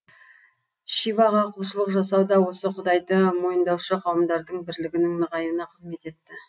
шиваға құлшылық жасау да осы құдайды мойындаушы қауымдардың бірлігінің нығаюына қызмет етті